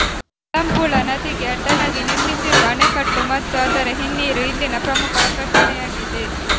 ಮಲಂಪುಳಾ ನದಿಗೆ ಅಡ್ಡಲಾಗಿ ನಿರ್ಮಿಸಿರುವ ಆಣೆಕಟ್ಟು ಮತ್ತು ಅದರ ಹಿನ್ನೀರು ಇಲ್ಲಿನ ಪ್ರಮುಖ ಆಕರ್ಷಣೆಯಾಗಿದೆ